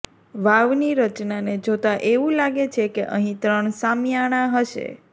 વાવની રચનાને જોતા એવું લાગે છેકે અહીં ત્રણ શામિયાણા હશે